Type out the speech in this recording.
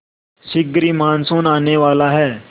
शीघ्र ही मानसून आने वाला है